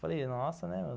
Falei, nossa, né?